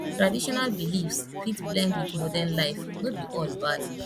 traditional beliefs fit blend wit modern life no be all bad